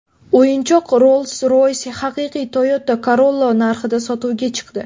O‘yinchoq Rolls-Royce haqiqiy Toyota Corolla narxida sotuvga chiqdi.